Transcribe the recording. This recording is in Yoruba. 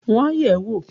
Wọ́n á yẹ̀ ẹ́ wò!